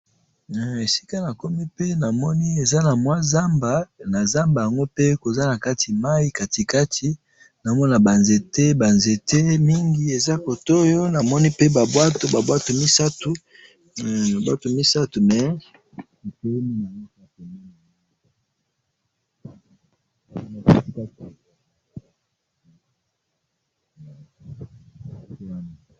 Eh! Esika nakomi pe namoni eza namwa zamba, nazamba yango pe koza nakati mayi katikati, naomona banzete, banzete mingi eza kotoyo, namoni pe babwato, babwato misatu, hum! babwato misatu, mais etelemi naango kaka pembeni ya mayi.